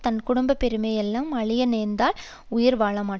தம் குடும்ப பெருமை எல்லாம் அழிய நேர்ந்தால் உயிர் வாழமாட்டார்